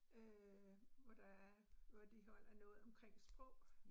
Øh hvor der er, hvor de holder noget omkring sprog